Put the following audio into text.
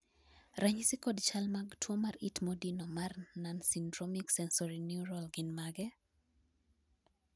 ranyisi kod chal mag tuo mar it modino mar nonsyndromic sensorineural gin mage?